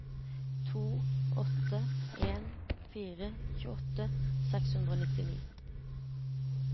to åtte en fire tjueåtte seks hundre og nittini